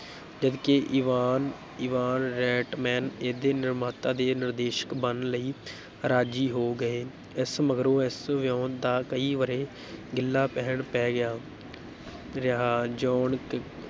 ਜਦ ਕਿ Ivan Ivan Reitman ਇਹਦੇ ਨਿਰਮਾਤਾ ਤੇ ਨਿਰਦੇਸ਼ਕ ਬਣਨ ਲਈ ਰਾਜ਼ੀ ਹੋ ਗਏ, ਇਸ ਮਗਰੋਂ ਇਸ ਵਿਓਂਤ ਦਾ ਕਈ ਵਰ੍ਹੇ ਗਿੱਲਾ ਪੀਹਣ ਪੈ ਗਿਆ ਰਿਹਾ, ਜੌਨ ਕ